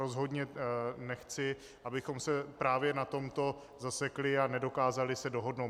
Rozhodně nechci, abychom se právě na tomto zasekli a nedokázali se dohodnout.